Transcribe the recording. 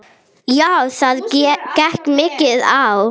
Já, það gekk mikið á.